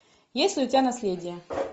есть ли у тебя наследие